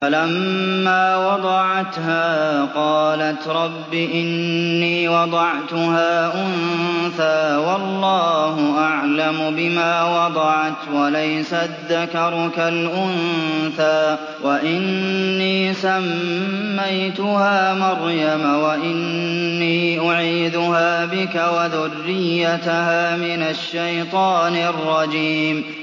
فَلَمَّا وَضَعَتْهَا قَالَتْ رَبِّ إِنِّي وَضَعْتُهَا أُنثَىٰ وَاللَّهُ أَعْلَمُ بِمَا وَضَعَتْ وَلَيْسَ الذَّكَرُ كَالْأُنثَىٰ ۖ وَإِنِّي سَمَّيْتُهَا مَرْيَمَ وَإِنِّي أُعِيذُهَا بِكَ وَذُرِّيَّتَهَا مِنَ الشَّيْطَانِ الرَّجِيمِ